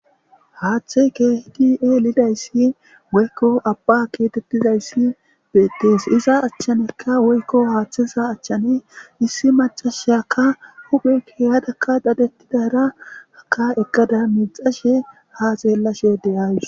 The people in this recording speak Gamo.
Haathey keehid elidaya woyko Abba getetizays betes , iza achanka woyko hatheza achan issi macashiyaka hu'e kehadaka dadetidara eqadaka ha xelashe micashe de'awus .